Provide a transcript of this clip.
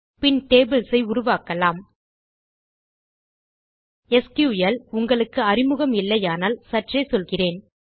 பின் tables ஐ உருவாக்கலாம் SQL உங்களுக்கு அறிமுகம் இல்லையானால் சற்றே சொல்கிறேன்